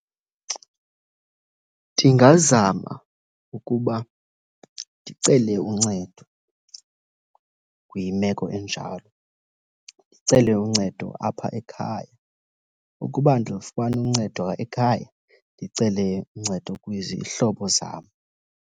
Ndingazama ukuba ndicele uncedo kwimeko enjalo, ndicele uncedo apha ekhaya. Ukuba andilufumani uncedo ekhaya, ndicele uncedo kwizihlobo zam.